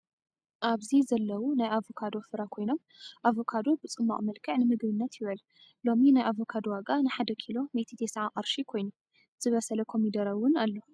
ኣብዚ ዘለው ናይ ኣቫካዶ ፍረ ኮይኖም ኣቫካዶ ብፅማቅ መልኽዕ ንምግብነት ይውዕል። ሎሚ ናይ ኣቫካዶ ዋጋ ንሓደ ኪሎ 190 ቅርሺ ኮይኑ። ዝበሰለ ኮሚደረ እውን ኣሎ።